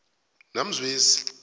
namzwezi